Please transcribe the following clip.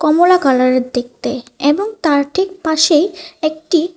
কমলা কালারের দেখতে এবং তার ঠিক পাশেই একটি--